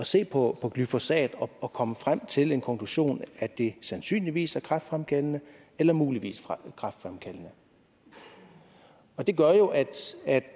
se på glyfosat og kommet frem til en konklusion at det sandsynligvis er kræftfremkaldende eller muligvis er kræftfremkaldende det gør jo at